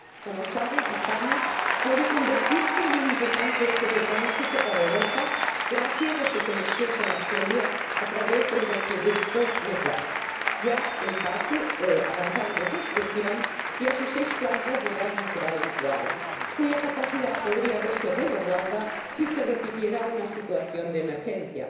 Como saben, España puede convertirse en un importante eje de tránsito para Europa gracias a su conexión con Argelia a través del gasoducto Medgaz ya en fase avanzada de construcción, y a sus seis plantas de gas natural licuado, cuya capacidad podría verse redoblada si se repitiera una situación de emergencia.